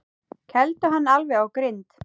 Kældu hann alveg á grind.